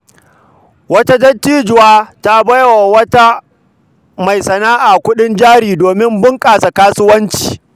Wata dattijuwa ta ba wa wata mai sana’a kuɗin jari domin bunƙasa kasuwanci.